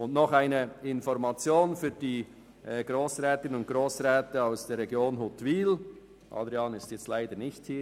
Noch eine Information an die Grossrätinnen und Grossräte aus der Region Huttwil, wobei Grossrat Wüthrich leider nicht anwesend):